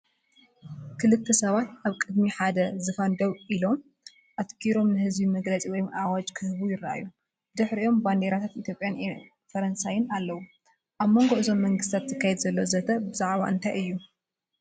ክልተ ሰባት ኣብ ቅድሚ ሓደ ዝፋን ደው ኢሎም፡ ኣተኲሮም ንህዝቢ መግለጺ ወይ ኣዋጅ ክህቡ ይረኣዩ። ብድሕሪኦም ባንዴራታት ኢትዮጵያን ፈረንሳይን ኣለዋ። ኣብ መንጎ እዞም መንግስታት ዝካየድ ዘሎ ዘተ ብዛዕባ እንታይ እዩ?